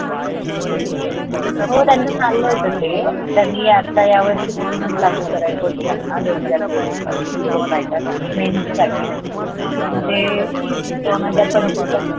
हो त्यंचा चाल्ला होत ते तरी आता या वर्षी पासूनच लागू करायेच होत त्यांना दोन हजार तीवीस पासुन तो mains pattern साठी पॅन ते दोन हजार पंचविसला